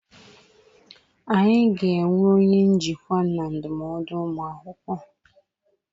Anyị ga-enwe onye njikwa na ndụmọdụ ụmụ akwụkwọ.